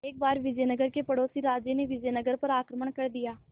एक बार विजयनगर के पड़ोसी राज्य ने विजयनगर पर आक्रमण कर दिया